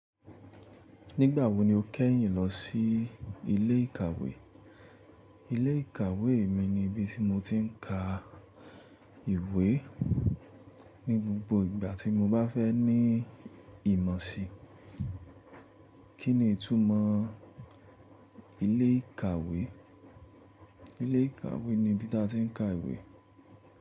Nígbà wo ni o kẹ́yìn lọ sí ilé ìkàwé? Ilé ìkàwé mi ni ibi tí mo ti ń ka ìwé ní gbogbo ìgbà tí mo bá fẹ́ ní ìmọ̀ sí. Kí ni ìtumọ̀ ilé ìkàwé? Ilé ìkàwé ni ibi tí a ti ń ka ìwé.